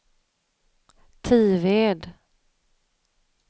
Tived